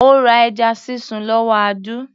Ó ra ẹja sísun lọ́wọ́ Audu